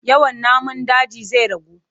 Yawan namun daji zai ragu.